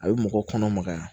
A bɛ mɔgɔ kɔnɔmagaya